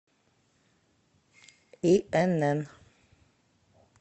инн